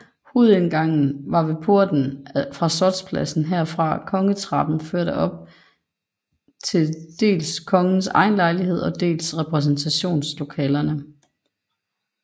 Hovedindgangen var ved porten fra Slotspladsen hvorfra Kongetrappen førte op til dels kongens egen lejlighed og dels repræsentationslokalerne